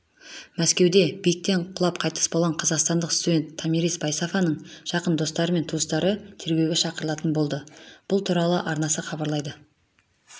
мәскеуде биіктен құлап қайтыс болған қазақстандық студент-томирис байсафаның жақын достары мен туыстары тергеуге шақырылатын болды бұл туралы арнасы хабарлайды